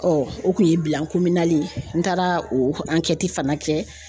o kun ye ye, n taara o fana kɛ